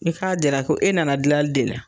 E k'a jira ko e nana gilali de la